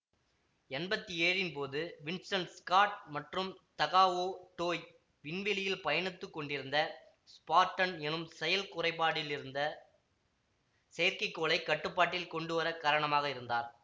எம்பத்தி ஏழின் போது Winston Scott மற்றும் தகாவோ டோய் விண்வெளியில் பயணித்து கொண்டிருந்த ஸ்பார்டன் எனும் செயல் குறைப்பாடிலிருந்த செயற்கைக்கோளைக் கட்டுப்பாட்டில் கொண்டுவர காரணமாக இருந்தார்